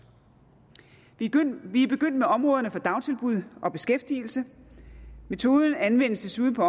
vi er først begyndt med områderne for dagtilbud og beskæftigelse metoden anvendes desuden på